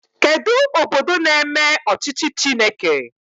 Kedụ obodo na-eme ọchịchị Chineke?